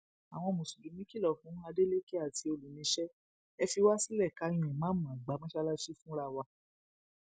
àwọn mùsùlùmí kìlọ fún adeleke àti olùníṣẹ ẹ fi wá sílẹ ká yan ìmáàmù àgbà mọṣáláàsì wa fúnra wa